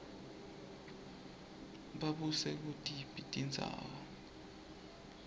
babuse kutiphi tindzawo